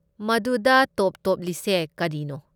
ꯃꯗꯨꯗ ꯇꯣꯞ ꯇꯣꯞꯂꯤꯁꯦ ꯀꯔꯤꯅꯣ?